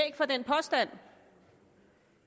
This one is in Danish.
for den påstand